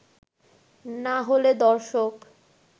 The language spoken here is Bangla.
না হলে দর্শক